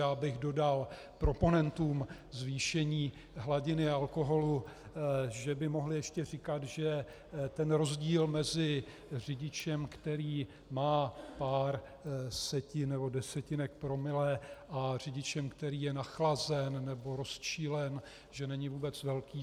Já bych dodal proponentům zvýšení hladiny alkoholu, že by mohli ještě říkat, že ten rozdíl mezi řidičem, který má pár setin nebo desetinek promile, a řidičem, který je nachlazen nebo rozčilen, že není vůbec velký.